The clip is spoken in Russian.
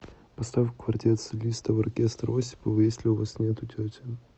поставь квартет солистов оркестра осипова если у вас нету тети